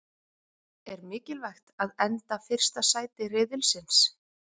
Er mikilvægt að enda fyrsta sæti riðilsins?